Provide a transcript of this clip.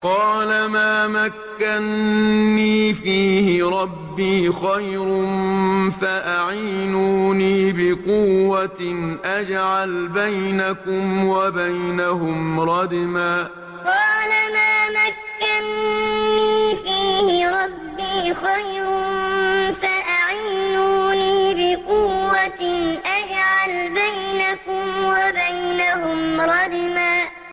قَالَ مَا مَكَّنِّي فِيهِ رَبِّي خَيْرٌ فَأَعِينُونِي بِقُوَّةٍ أَجْعَلْ بَيْنَكُمْ وَبَيْنَهُمْ رَدْمًا قَالَ مَا مَكَّنِّي فِيهِ رَبِّي خَيْرٌ فَأَعِينُونِي بِقُوَّةٍ أَجْعَلْ بَيْنَكُمْ وَبَيْنَهُمْ رَدْمًا